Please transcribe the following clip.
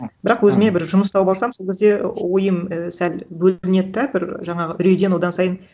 бірақ өзіме бір жұмыс тауып алсам сол кезде ойым ііі сәл бөлінеді де бір жаңағы үрейден одан сайын